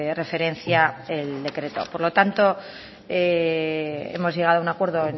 referencia el decreto por lo tanto hemos llegado a un acuerdo